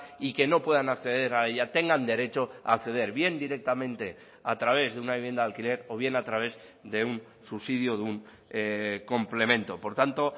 y que no puedan acceder a ella tengan derecho a acceder bien directamente a través de una vivienda de alquiler o bien a través de un subsidio o de un complemento por tanto